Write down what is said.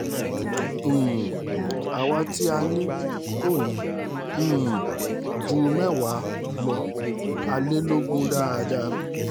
um àwa tí a ní a kò ní um í ju mẹ́wàá lọ a lè lọgun dáadáa